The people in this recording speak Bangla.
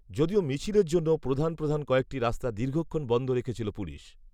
যদিও মিছিলের জন্য প্রধান প্রধান কয়েকটি রাস্তা দীর্ঘক্ষণ বন্ধ রেখেছিল পুলিশ